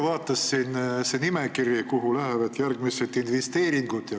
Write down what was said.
Vaatasin huviga seda nimekirja, kuhu lähevad järgmised investeeringud.